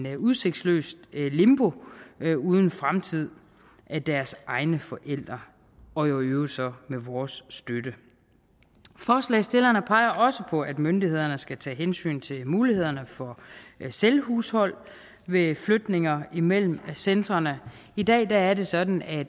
et udsigtsløst limbo uden fremtid af deres egne forældre og i øvrigt så med vores støtte forslagsstillerne peger også på at myndighederne skal tage hensyn til mulighederne for selvhushold ved flytninger mellem centrene i dag er det sådan at